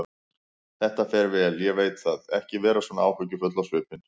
Þetta fer vel, ég veit það, ekki vera svona áhyggjufull á svipinn.